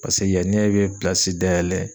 Paseke yanni ne bɛ pilasi dayɛlɛ